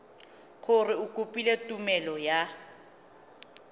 gore o kopile tumelelo ya